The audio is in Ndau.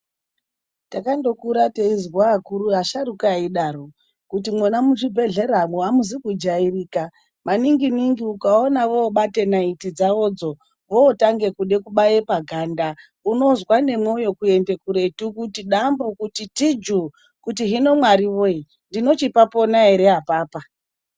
Takandokura teizwa akuru ,asharukwa eidaro kuti mwona muchibhedhlera mwo ,amuzi kujairika ,maningi ningi ukaona vobate naiti dzavo dzo votange kude kubaye paganda unozwe nemwoyo kudambuka kuti dambu, kuti tiju ,kuti hino mwariwee ndinochipapona ere apapa.